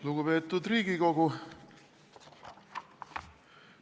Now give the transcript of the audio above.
Lugupeetud Riigikogu!